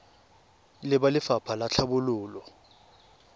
le ba lefapha la tlhabololo